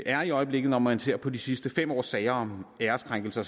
er i øjeblikket når man ser på de sidste fem års sager om æreskrænkelser